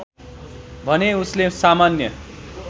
भने उसले सामान्य